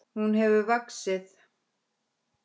Hún hefur vaxið.